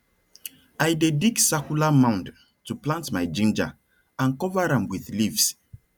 i dey dig circular mound to plant my ginger and cover am with leaves